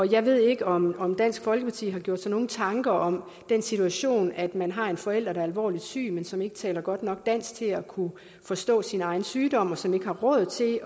jeg ved ikke om om dansk folkeparti har gjort sig nogen tanker om den situation at man har en forælder der er alvorligt syg men som ikke taler godt nok dansk til at kunne forstå sin egen sygdom som ikke har råd til